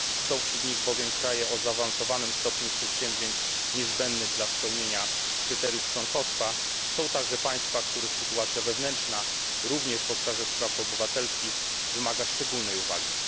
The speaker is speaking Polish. Są wśród nich bowiem kraje o zaawansowanym stopniu przedsięwzięć niezbędnych dla spełnienia kryteriów członkostwa, są także państwa, których sytuacja wewnętrzna, również w obszarze spraw obywatelskich, wymaga szczególnej uwagi.